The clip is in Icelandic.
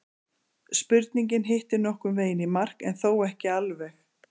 Spurningin hittir nokkurn veginn í mark en þó ekki alveg.